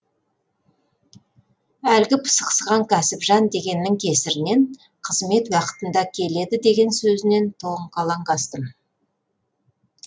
әлгі пысықсыған кәсіпжан дегеннің кесірінен қызмет уақытында келеді деген сөзінен тоңқалаң астым